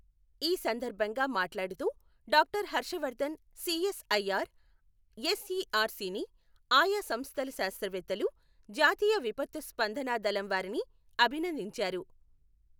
ఈ సందర్భంగా మాట్లాడుతూ డాక్టర్ హర్షవర్ధన్ సిఎస్ఐఆర్ ఎస్ఇఆర్సి ని, ఆయా సంస్థల శాస్త్రవేత్తలు, జాతీయ విపత్తు స్పందన దళంవారిని అభినందించారు.